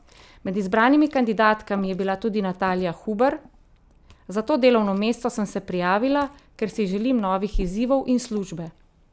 Med izbranimi kandidatkami je bila tudi Natalija Huber: "Za to delovno mesto sem se prijavila, ker si želim novih izzivov in službe.